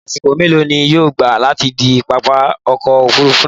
Àṣìkò mẹlọ ni yóò gbà láti de pápá ọkọ̀ òfurufú náá?